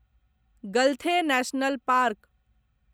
गलथे national park